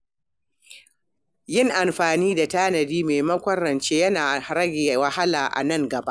Yin amfani da tanadi maimakon rance yana rage wahala a nan gaba.